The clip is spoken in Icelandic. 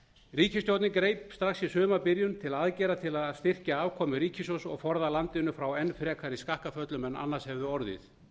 ríkisstjórnin greip strax í sumarbyrjun til aðgerða til að styrkja afkomu ríkissjóðs og forða landinu frá enn frekari skakkaföllum en annars hefðu orðið